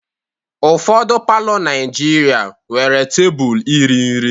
Ụfọdụ palọ Naijiria nwere tebụl iri nri.